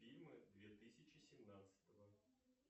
фильмы две тысячи семнадцатого